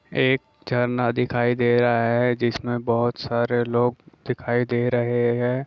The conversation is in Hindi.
एक झरना दिखाई दे रहा है जिसमें बहुत सारे लोग दिखाई दे रहै हैं।